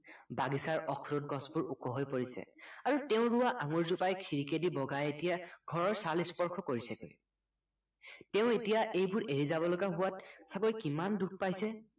বাগিচাৰ অখৰোট গছবোৰ ওখ হৈ পৰিছে আৰু তেওঁ ৰোৱা আঙুৰ জোপাই খিৰিকিয়েদি বগাই এতিয়া ঘৰৰ চাল স্পৰ্শ কৰিছে তেওঁ এতিয়া এইবোৰ এৰি যাবলগা হোৱাত চাগৈ কিমান দুখ পাইছে